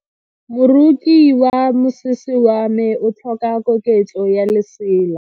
Moroki wa mosese wa me o tlhoka koketso ya lesela.